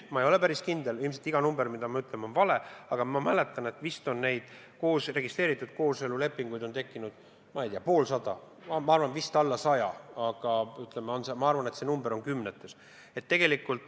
Ma ei ole päris kindel, ilmselt on iga number, mis ma ütlen, vale, aga ma mäletan, et neid registreeritud kooselu lepinguid on tekkinud, ma ei tea, vist poolsada, alla saja, ütleme, see number on kümnetes.